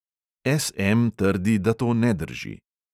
S M trdi, da to ne drži.